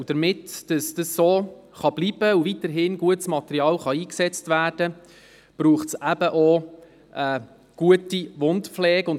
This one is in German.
Damit es so bleiben und weiterhin gutes Material eingesetzt werden kann, ist auch eine gute Wundpflege nötig.